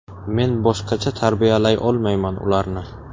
Men boshqacha tarbiyalay olmayman ularni.